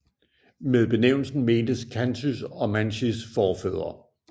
Med benævnelsen mentes khantys og mansijs forfædre